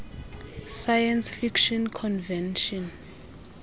science fiction convention